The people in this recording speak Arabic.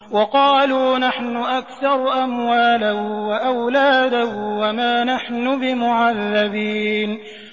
وَقَالُوا نَحْنُ أَكْثَرُ أَمْوَالًا وَأَوْلَادًا وَمَا نَحْنُ بِمُعَذَّبِينَ